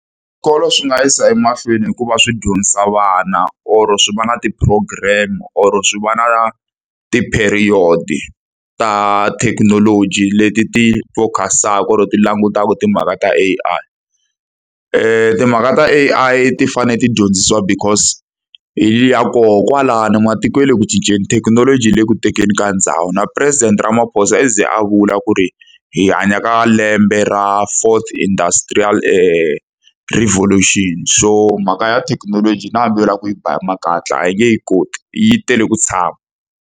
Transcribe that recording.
Swikolo swi nga yisa emahlweni hi ku va swi dyondzisa vana or-o swi va na ti-program, or-o swi va na ti-period-i ta thekinoloji leti ti focus-aka or-o ti langutaka timhaka ta A_I. Timhaka ta A_I ti fanele ti dyondzisiwa because hi ya kona kwalano, matiko ya le ku cinceni, thekinoloji yi le ku tekeni ka ndhawu. Na President Ramaphosa a ze a vula ku ri hi hanya ka lembe ra fourth industrutrial revolution. So mhaka ya thekinoloji na hambi u lava ku yi ba makatla a hi nge yi koti, yi tele ku tshama.